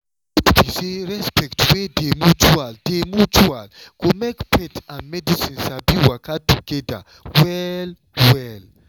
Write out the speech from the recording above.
truth be say respect wey dey mutual dey mutual go make faith and medicine sabi waka together well-well.